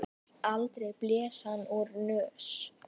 Aldrei blés hann úr nös.